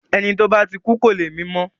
Ẹni tí ó bá ti kú kò le mí mọ́.